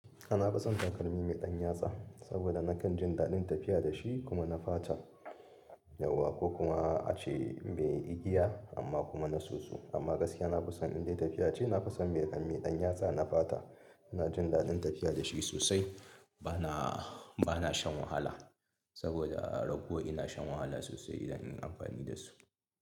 Na fison takalmi mai ɗan yatsa, saboda nakan jin daɗin tafiya da shi kuma na fata, yauwa ko kuma a ce mai igiya amma kuma na soso. Amma gaskiya na fi son in dai tafiya ce, na fi son mai ƙarami ɗan yatsa na fata. Ina jin daɗin tafiya da shi sosai. Bana, bana shan wahala saboda rago ina shan wahala sosai idan ina amfani da su.